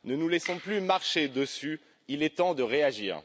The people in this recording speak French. Ne nous laissons plus marcher dessus, il est temps de réagir.